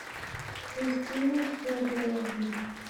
кристина федоровна